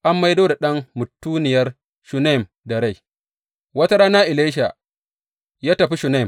An maido da ɗan mutuniyar Shunem da rai Wata rana Elisha ya tafi Shunem.